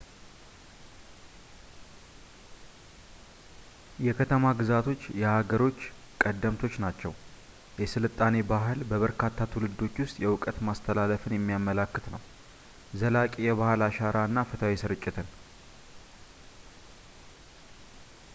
የከተማ-ግዛቶች የሃገሮች ቀደምቶች ናቸው። የሥልጣኔ ባህል በበርካታ ትውልዶች ውስጥ የእውቀት ማስተላለፍን የሚያመለክት ነው ፣ ዘላቂ የባህል አሻራ እና ፍትሃዊ ስርጭትን